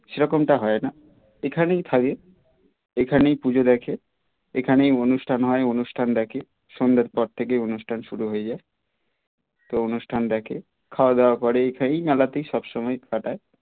সে রকমটা হয় না এখানেই থাকে এখানেই পুজো দেখে এখানে অনুষ্টান হয় অনুষ্টান দেখে সন্ধ্যার পর থেকে অনুষ্টান শুরু হয় যায় সব অনুষ্টান দেখে খাওয়া দাওয়া করে এখানেই মেলাতেই সবসময় কাটায়